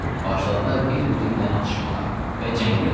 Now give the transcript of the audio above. Başladılar bir-biri ilə atışmağa və cəng eləməyə.